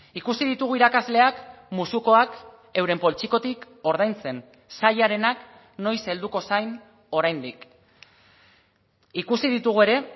ikusi ditugu irakasleak musukoak euren poltsikotik ordaintzen sailarenak noiz helduko zain oraindik ikusi ditugu ere